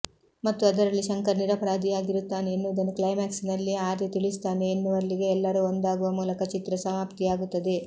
ಮತ್ತು ಅದರಲ್ಲಿ ಶಂಕರ್ ನಿರಪರಾಧಿಯಾಗಿರುತ್ತಾನೆ ಎನ್ನುವುದನ್ನು ಕ್ಲೈಮ್ಯಾಕ್ಸ್ ನಲ್ಲಿ ಆರ್ಯ ತಿಳಿಸುತ್ತಾನೆ ಎನ್ನುವಲ್ಲಿಗೆ ಎಲ್ಲರೂ ಒಂದಾಗುವ ಮೂಲಕ ಚಿತ್ರ ಸಮಾಪ್ತಿಯಾಗುತ್ತದೆ